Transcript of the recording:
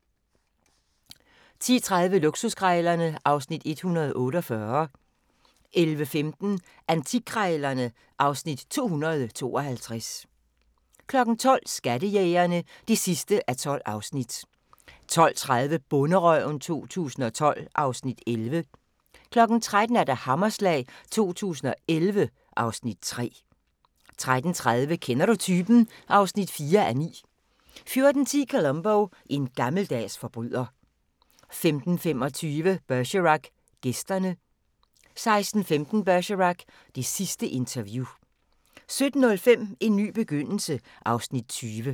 10:30: Luksuskrejlerne (Afs. 148) 11:15: Antikkrejlerne (Afs. 252) 12:00: Skattejægerne (12:12) 12:30: Bonderøven 2012 (Afs. 11) 13:00: Hammerslag 2011 (Afs. 3) 13:30: Kender du typen? (4:9) 14:10: Columbo: En gammeldags forbryder 15:20: Bergerac: Gæsterne 16:15: Bergerac: Det sidste interview 17:05: En ny begyndelse (Afs. 20)